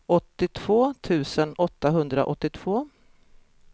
åttiotvå tusen åttahundraåttiotvå